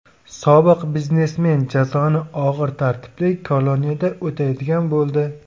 Sobiq biznesmen jazoni og‘ir tartibli koloniyada o‘taydigan bo‘ldi.